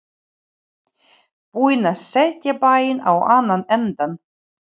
Búin að setja bæinn á annan endann.